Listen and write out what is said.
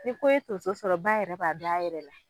Ni ko ye tonso sɔrɔ ba yɛrɛ b'a dɔn a yɛrɛ la